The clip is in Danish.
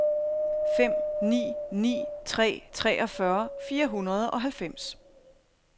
fem ni ni tre treogfyrre fire hundrede og halvfems